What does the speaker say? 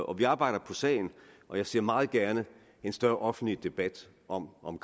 og vi arbejder på sagen og jeg ser meget gerne en større offentlig debat om om